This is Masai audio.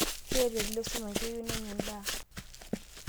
Keeta oldia esumash keyieu nenya endaa.